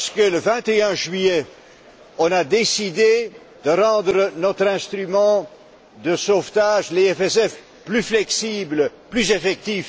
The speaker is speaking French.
Le 21 juillet, nous avons décidé de rendre notre instrument de sauvetage, le FESF, plus flexible, plus effectif.